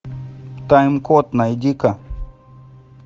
тайм код найди ка